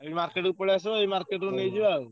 ଏଇ market କୁ ପଳେଈଆସିବା ଏଇ market ରୁ ନେଇଯିବା ଆଉ।